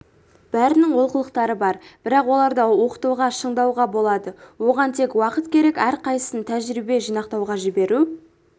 бәрінің олқылықтары бар бірақ оларды оқытуға шыңдауға болады оған тек уақыт керек әрқайсысын тәжірибе жинақтауға жіберу